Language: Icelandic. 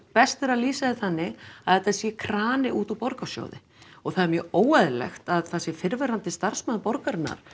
best er að lýsa því þannig að þetta sé krani út úr borgarsjóði og það er mjög óeðlilegt að það sé fyrrverandi starfsmaður borgarinnar